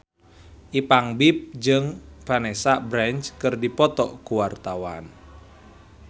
Ipank BIP jeung Vanessa Branch keur dipoto ku wartawan